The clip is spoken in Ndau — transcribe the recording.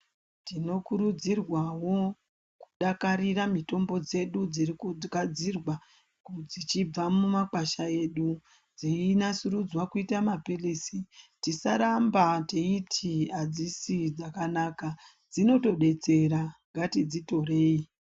Tinokurudzirwa wo kudakarira mitombo dzedu dzekugadzirwa dzibva mumakwasha edu dzienasurudzwa kuita mapilizi tisaramba teiti hadzisi dzakanaka dzinotodetsera ngatidzitorei.